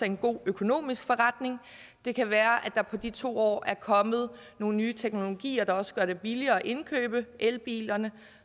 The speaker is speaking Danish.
en god økonomisk forretning det kan være at der på de to år er kommet nogle nye teknologier der også gør det billigere at indkøbe elbilerne